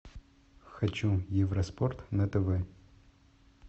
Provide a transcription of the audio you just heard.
хочу евроспорт на тв